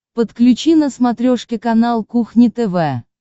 подключи на смотрешке канал кухня тв